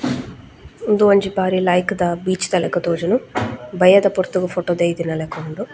ಉಂದು ಒಂಜಿ ಬಾರಿ ಲಾಇಕುದ ಬೀಚ್ ದ ಲಕ ತೋಜುಂಡು ಬಯ್ಯದ ಪೊರ್ತುಗು ಫೊಟೊ ದೈದಿನಲಕ ಉಂಡು.